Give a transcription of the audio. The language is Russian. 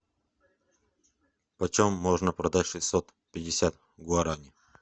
почем можно продать шестьсот пятьдесят гуарани